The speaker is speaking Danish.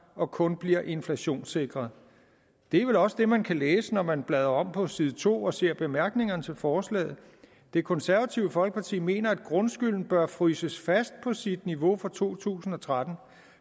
og kun bliver inflationssikret det er vel også det man kan læse når man bladrer om på side to og ser i bemærkningerne til forslaget det konservative folkeparti mener at grundskylden bør fryses fast på sit niveau for to tusind og tretten